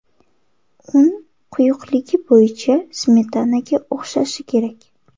Un quyuqligi bo‘yicha smetanaga o‘xshashi kerak.